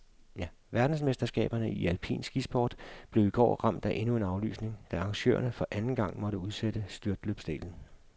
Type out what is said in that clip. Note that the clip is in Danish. Verdensmesterskaberne i alpin skisport blev i går ramt af endnu en aflysning, da arrangørerne for anden gang måtte udsætte styrtløbsdelen.